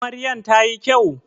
Amaryan ta yi kyau?